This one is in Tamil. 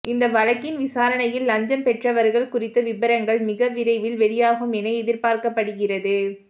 இந்த வழக்கின் விசாரணையில் லஞ்சம் பெற்றவர்கள் குறித்த விபரங்கள் மிக விரைவில் வெளியாகும் என எதிர்பார்க்கப்படுகிறது